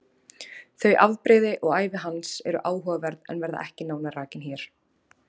Þau afbrigði og ævi hans eru áhugaverð en verða ekki nánar rakin hér.